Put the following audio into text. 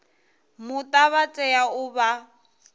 muta vha tea u vha